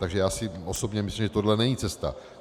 Takže já si osobně myslím, že tohle není cesta.